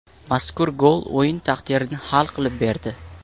Mazkur gol o‘yin taqdirini hal qilib berdi.